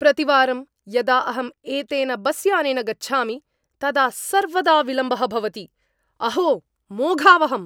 प्रतिवारं यदा अहं एतेन बस्यानेन गच्छामि, तदा सर्वदा विलम्बः भवति, अहो मोघावहम्!